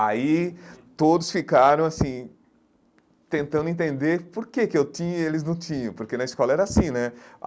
Aí todos ficaram assim, tentando entender por que que eu tinha e eles não tinham, porque na escola era assim, né?